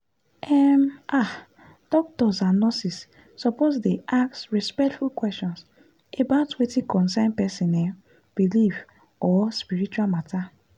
um ah doctors and nurses suppose dey ask respectful questions about wetin concern person um belief or spiritual matter.